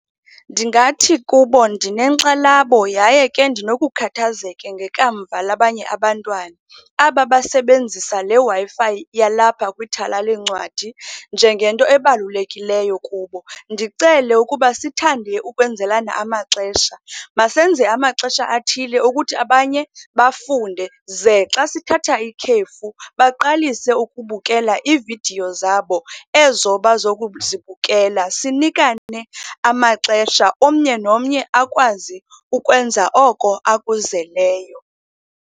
Ndingathi kubo, ndinenxala yaye ke ndinokukhathazeka ngekamva labanye abantwana, aba basebenzisa le Wi-Fi yalapha kwithala lweencwadi njengento ebalulekileyo kubo. Ndicele ukuba sithande ukwenzelana amaxesha. Masenze amaxesha athile okuthi abanye bafunde, ze xa sithatha ikhefu baqalise ukubukela iividiyo zabo ezo bazokuzibukela. Sinikane amaxesha, omnye nomnye akwazi ukwenza oko akuzeleyo.